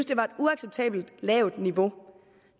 det var et uacceptabelt lavt niveau